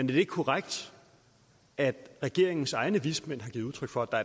det ikke korrekt at regeringens egne vismænd har givet udtryk for at der